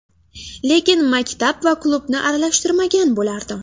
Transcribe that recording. Lekin maktab va klubni aralashtirmagan bo‘lardim.